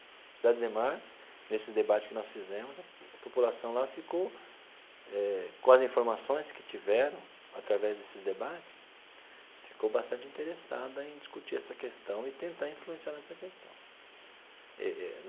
Cidade Ademar, nesses debates que nós fizemos, a população lá ficou eh, com as informações que tiveram através desses debates, ficou bastante interessada em discutir essa questão e tentar influenciar nessa questão eh.